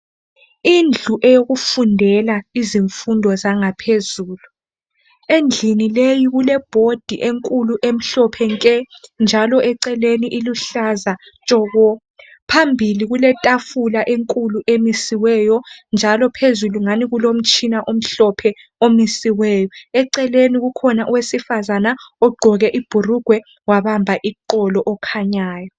Indlu eyokufundela izimfundo zangaphezulu. Endlini leyi, kulebhodi enkulu, emhlophe nke! Njalo eceleni iluhlaza tshoko! Phambili kuletafula enkulu emisiweyo, njalo phezulu ungani kulomtshina omhlophe omisiweyo . Eceleni kukhona owesifazana. Ogqoke ibhurugwe, wabamba iqolo, okhanyayo.